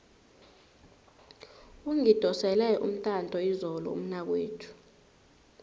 ungidosele umtato izolo umnakwethu